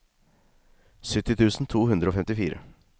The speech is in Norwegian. sytti tusen to hundre og femtifire